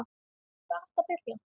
Hvar áttu að byrja?